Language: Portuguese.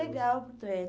legal.